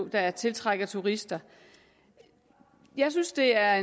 der tiltrækker turister jeg synes det er